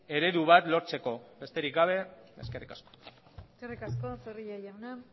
eredu bat lortzeko besterik gabe eskerrik asko eskerrik asko zorrilla jauna